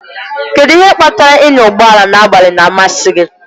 Kedụ ihe kpatara ịnya ụgbọ ala n'abalị na-amasị gị?